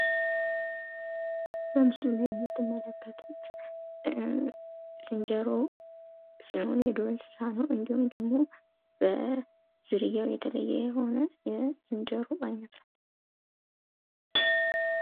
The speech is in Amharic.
በምስሉ ላይ የምትመለከቱት ዝንጀሮ የዱር እንሰሳ ነው። እንዲሁም ደሞ በዝርያው የተለየ የሆነ የዝንጀሮ አይነት ነው።